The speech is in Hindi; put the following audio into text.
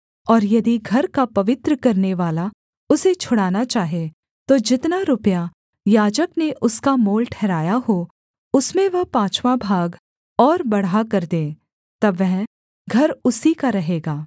और यदि घर का पवित्र करनेवाला उसे छुड़ाना चाहे तो जितना रुपया याजक ने उसका मोल ठहराया हो उसमें वह पाँचवाँ भाग और बढ़ाकर दे तब वह घर उसी का रहेगा